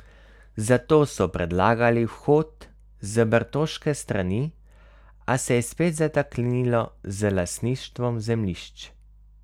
Zato so predlagali vhod z bertoške strani, a se je spet zataknilo z lastništvom zemljišč.